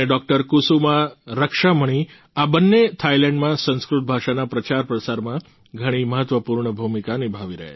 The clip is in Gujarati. કુસુમા રક્ષામણી આ બંને થાઈલેન્ડમાં સંસ્કૃત ભાષાના પ્રચારપ્રસારમાં ઘણી મહત્વપૂર્ણ ભૂમિકા નિભાવી રહ્યા છે